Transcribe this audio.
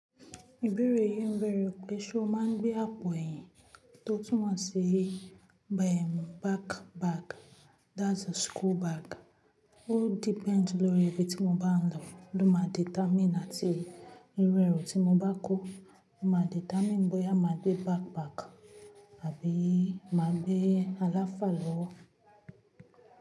Ìbéèrè yìí ń bẹ̀rẹ̀ pé ṣé o máa gbé àpò ẹ̀yìn tó túnmọ̀ sí backpack, that's a school bag. Ó depend lórí ibi tí mo bá ń lọ ló máa determine àti irú ẹrú tí mo bá kó, máa determine bóyá máa gbé backpack àbí máa gbé àlàfá lọ́wọ́.